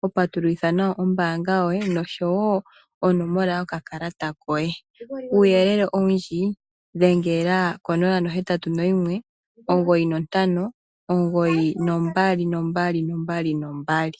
hopatululitha nayo ombaanga yoye, nosho woo onomolo yokakalatakoye. Uuyelele owundji, dhengela ko 0819592222.